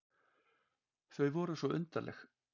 Þau voru svo undarleg.